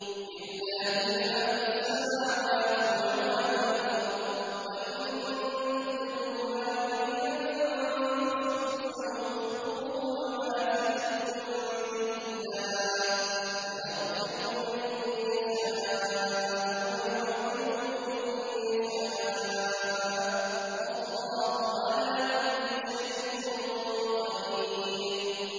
لِّلَّهِ مَا فِي السَّمَاوَاتِ وَمَا فِي الْأَرْضِ ۗ وَإِن تُبْدُوا مَا فِي أَنفُسِكُمْ أَوْ تُخْفُوهُ يُحَاسِبْكُم بِهِ اللَّهُ ۖ فَيَغْفِرُ لِمَن يَشَاءُ وَيُعَذِّبُ مَن يَشَاءُ ۗ وَاللَّهُ عَلَىٰ كُلِّ شَيْءٍ قَدِيرٌ